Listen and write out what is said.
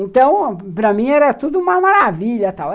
Então, para mim, era tudo uma maravilha tal.